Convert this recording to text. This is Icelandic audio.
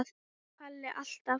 Palli alltaf.